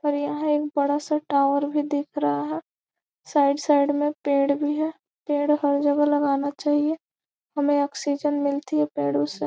और यहाँ एक बड़ा सा टावर भी दिख रहा है साइड साइड में पेड़ भी है पेड़ हर जगह लगाना चाहिए हमें ऑक्सीजन मिलती है पेड़ों से।